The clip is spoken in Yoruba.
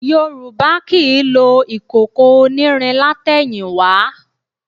Yorùbá kì í lo ìkòkò onírin látẹ̀yìnwá